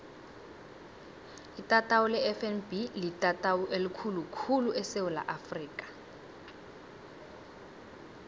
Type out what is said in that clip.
itatawu lefnb litatawu elikhulu khulu esewula afrika